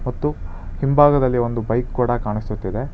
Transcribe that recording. ಮತ್ತು ಹಿಂಭಾಗದಲ್ಲಿ ಒಂದು ಬೈಕ್ ಕೂಡ ಕಾಣಿಸುತ್ತಿದೆ.